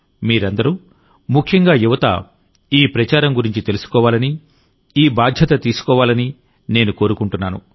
మీరందరూముఖ్యంగా యువత ఈ ప్రచారం గురించి తెలుసుకోవాలనిఈ బాధ్యత తీసుకోవాలని నేను కోరుకుంటున్నాను